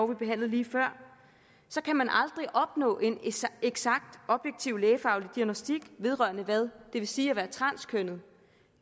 vi behandlede lige før så kan man aldrig opnå en eksakt objektiv lægefaglig diagnostik vedrørende hvad det vil sige at være transkønnet